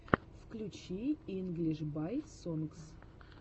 включи инглиш бай сонгс